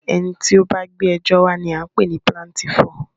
Ẹni tí o bá gbé ẹjọ́ wa ní a ń pé ní píláǹtìífú.